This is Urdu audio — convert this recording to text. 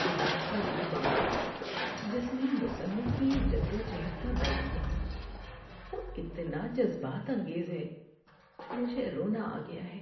کتاب کا یہ باب جس میں مصنف کی جد و جہد کا بیان ہے وہ اتنا جذبات انگیز ہے کہ مجھے رونا آ گیا ہے۔